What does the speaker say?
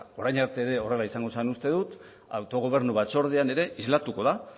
orain arte ere horrela izango zela uste dut autogobernu batzordean ere islatuko da